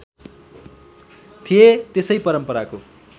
थिए त्यसै परम्पराको